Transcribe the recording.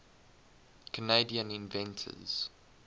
canadian inventors